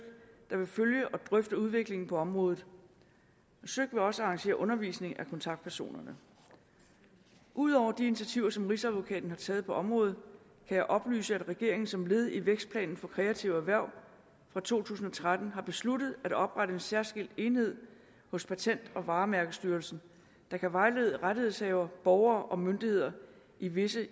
der vil følge og drøfte udviklingen på området søik vil også arrangere undervisning af kontaktpersonerne ud over de initiativer som rigsadvokaten har taget på området kan jeg oplyse at regeringen som led i vækstplanen for kreative erhverv for to tusind og tretten har besluttet at oprette en særskilt enhed hos patent og varemærkestyrelsen der kan vejlede rettighedshavere borgere og myndigheder i visse